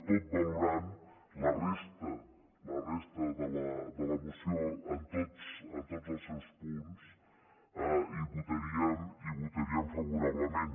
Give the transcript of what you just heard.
tot valorant la resta la resta de la moció en tots els seus punts hi votaríem favorablement